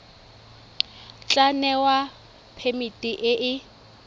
tla newa phemiti e e